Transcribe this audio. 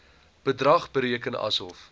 bedrag bereken asof